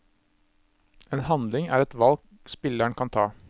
En handling er et valg spilleren kan ta.